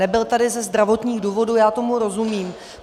Nebyl tady ze zdravotních důvodů, já tomu rozumím.